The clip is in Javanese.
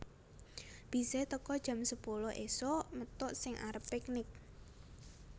Bise teko jam sepuluh isuk methuk sing arep piknik